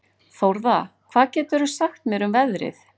Þórða, hvað geturðu sagt mér um veðrið?